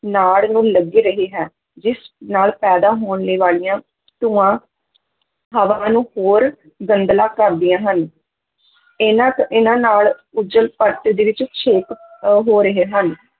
ਨਾੜ ਨੂੰ ਲੱਗ ਰਹ ਹੈ ਜਿਸ ਨਾਲ ਪੈਦਾ ਹੋਣੇ ਵਾਲੀਆਂ ਧੂੰਆਂ ਹਵਾ ਨੂੰ ਹੋਰ ਗੰਧਲਾ ਕਰਦੀਆਂ ਹਨ ਇਹਨਾਂ ਤੋਂ ਇਹਨਾਂ ਨਾਲ ਓਜ਼ੋਨ-ਪਰਤ ਦੇ ਵਿੱਚ ਛੇਕ ਅਹ ਹੋ ਰਹੇ ਹਨ